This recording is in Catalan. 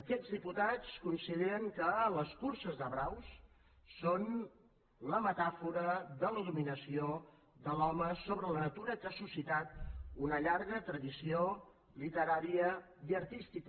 aquests diputats consideren que les curses de braus són la metàfora de la dominació de l’home sobre la natura que ha suscitat una llarga tradició literària i artística